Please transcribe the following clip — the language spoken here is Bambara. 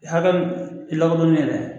Hakɛ min lakodɔnnen .